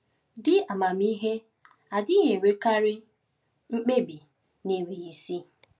Di amamihe adịghị emekarị mkpebi n’enweghị isi.